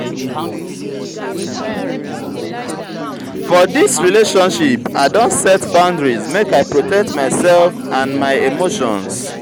for dis relationship i don set boundaries make i protect myself and and my emotions.